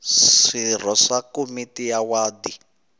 swirho swa komiti ya wadi